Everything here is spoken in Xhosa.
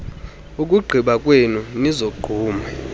ukugqiba kwenu nizogqume